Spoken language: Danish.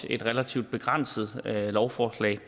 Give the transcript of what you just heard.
et relativt begrænset lovforslag